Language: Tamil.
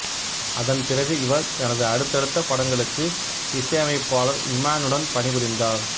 அதன் பிறகு இவர் தனது அடுத்தடுத்த படங்களுக்கு இசையமைப்பாளர் இமானுடன் பணிபுரிந்தார்